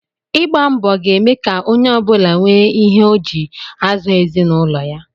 Ịgba mbọ ga-eme ka onye ọ bụla nwee ihe ọ ji azụ ezinụlọ ya